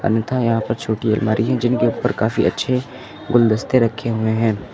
अन्यथा यहां पर छोटी अलमारी है जिनके ऊपर काफी अच्छे गुलदस्ते रखे हुए हैं।